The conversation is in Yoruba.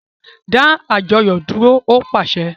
Da àjọyọ dúró! O paṣẹ̀